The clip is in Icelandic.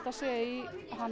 sé í